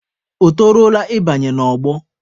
O toruola ị banye n'ọgbọ?